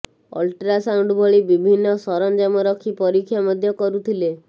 ultrasound ଭଳି ବିଭିନ୍ନ ସରଞ୍ଜାମ ରଖି ପରୀକ୍ଷା ମଧ୍ୟ କରୁଥିଲେ